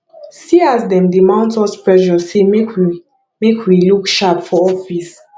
see as dem dey mount us pressure sey make we make we look sharp for office